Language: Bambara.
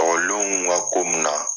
Ɔkɔlidenw ka ko mun na